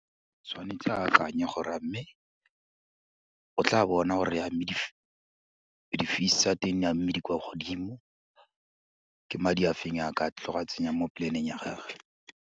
Tshwanetse a akanye gore a mme, o tla bona gore a mme di-fees tsa teng, a mme di kwa godimo, ke madi a feng a ka tlo go a tsenyang mo plan-eng ya gagwe.